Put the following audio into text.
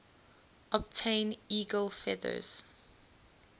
obtain eagle feathers